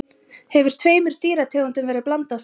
Hefur tveimur dýrategundum verið blandað saman?